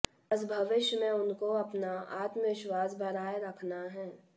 बस भविष्य में उनको अपना आत्मविश्वास बढ़ाए रखना है